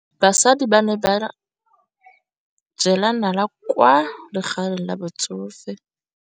Basadi ba ne ba jela nala kwaa legaeng la batsofe.